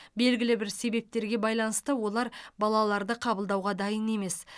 белгілі бір себептерге байланысты олар балаларды қабылдауға дайын емес